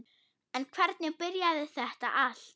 En hvernig byrjaði þetta allt?